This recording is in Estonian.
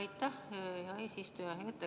Aitäh, hea eesistuja!